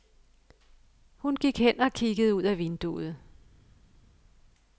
Hun gik hen og kiggede ud ad vinduet.